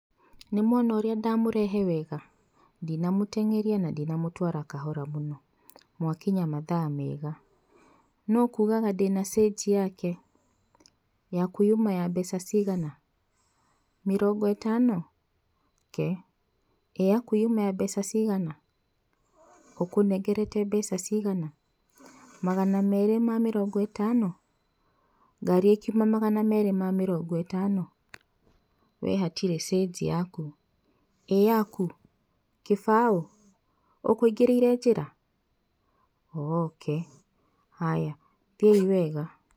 Nĩmwona ũrĩa ndamũrehe wega, ndinamũtenyeria na ndinamũtwara kahora mũno. Mwakinya mathaa mega. Nũ ũkugaga ndina cĩnji yake? Yaku yuma mbeca cigana? Mĩrongo ĩtano? kee, ĩ yaku yuma mbeca cigana? ũkũnengerete mbeca cigana? magana merĩ ma mĩrongo ĩtano? Ngari ĩ kiuma magana merĩ ma mĩrongo ĩtano, we hatirĩ cĩnji yaku. ĩ yaku, kĩbaũ? ũkũingĩrĩire njĩra? Ooh okay, haya thiĩi wega.